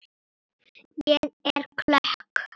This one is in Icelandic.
Ég er klökk.